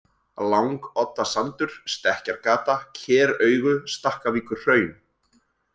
Langoddasandur, Stekkjargata, Keraugu, Stakkavíkurhraun